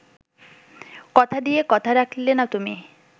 কথা দিয়ে কথা রাখলে না তুমি